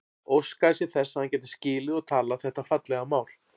Óskaði sér þess að hann gæti skilið og talað þetta fallega mál.